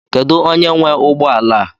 Kedu onye nwe ụgbọ ala a?